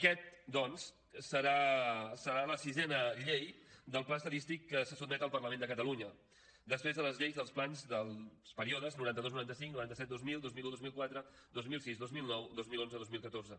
aquesta doncs serà la sisena llei del pla estadístic que se sotmet al parlament de catalunya després de les lleis del plans dels períodes noranta dos noranta cinc noranta set dos mil dos mil un dos mil quatre dos mil sis dos mil nou dos mil onze dos mil catorze